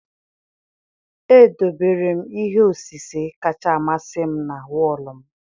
Edobere m ihe osise kacha amasị m na wọọlụ m.